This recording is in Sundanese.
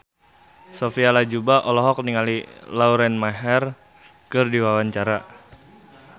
Sophia Latjuba olohok ningali Lauren Maher keur diwawancara